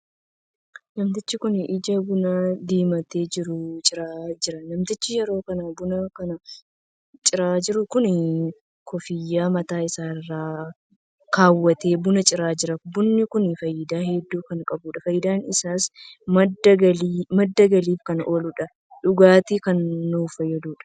Namtichi kun ija buna diimatee jiru ciraa jira. namtichi yeroon kana buna kana ciraa jiru kun koofiyyaa mataa isaa irra kaawwatee buna ciraa jira. bunni kun faayidaa hedduu kan qabuudha. faayidaan isaas madda galiif kan ooluu fi dhugaatiif kan nu fayyaduudha.